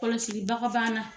Kɔlɔsilibaga b'an na.